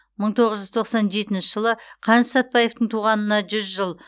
мың тоғыз жүз тоқсан жетінші жылы қаныш сәтбаевтың туғанына жүз жыл